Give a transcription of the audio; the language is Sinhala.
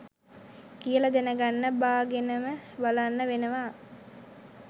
කියල දැනගන්න බාගෙනම බලන්න වෙනව